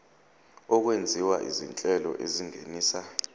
okwenziwa izinhlelo ezingenisa